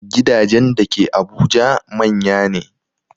Gidajen da ke Abuja manya ne